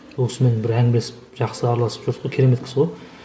сол кісімен бір әңгімелесіп жақсы араласып жүрдік қой керемет кісі ғой